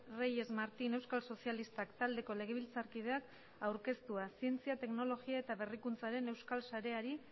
reyes martín euskal sozialistak taldeko legebiltzarkideak aurkeztua zientzia teknologia eta berrikuntzaren euskal sareari